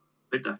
Aitäh!